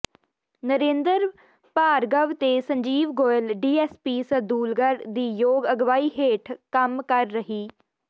ਨਰਿੰਦਰ ਭਾਰਗਵ ਤੇ ਸੰਜੀਵ ਗੋਇਲ ਡੀਐੱਸਪੀ ਸਰਦੂਲਗ੍ਹੜ ਦੀ ਯੋਗ ਅਗਵਾਈ ਹੇਠ ਕੰਮ ਕਰ ਰਹੀ